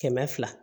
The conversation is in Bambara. Kɛmɛ fila